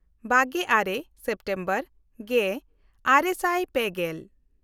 ᱵᱟᱜᱮᱼᱟᱨᱮ September ᱜᱮᱼᱟᱨᱮ ᱥᱟᱭ ᱯᱮᱜᱮᱞ